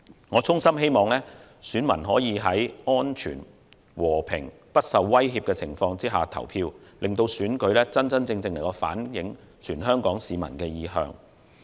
我衷心希望選民可在安全、和平、不受威脅的情況下投票，令選舉真正反映全港市民的意向。